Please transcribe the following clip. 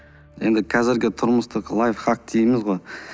енді қазіргі тұрмыстық лайфхак дейміз ғой